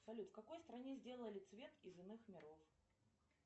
салют в какой стране сделали цвет из иных миров